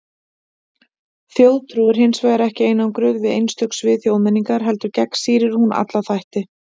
Þjóðtrú er hins vegar ekki einangruð við einstök svið þjóðmenningar, heldur gegnsýrir hún alla þætti.